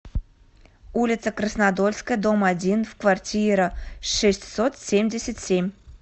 улица краснодольская дом один в квартира шестьсот семьдесят семь